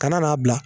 Kana n'a bila